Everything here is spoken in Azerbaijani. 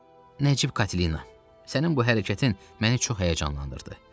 Nəcib Katina, sənin bu hərəkətin məni çox həyəcanlandırdı.